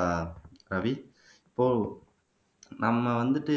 ஆஹ் ரவி இப்போ நம்ம வந்துட்டு